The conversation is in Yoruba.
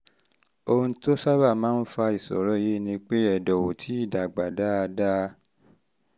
ohun tó sábà máa um ń fa ìṣòro yìí ni pé ẹ̀dọ̀ ò tíì um dàgbà dáadáa